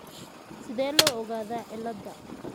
Sidee loo ogaadaa Cohen ciilada?